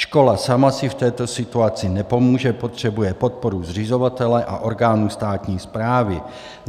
Škola sama si v této situaci nepomůže, potřebuje podporu zřizovatele a orgánů státní správy.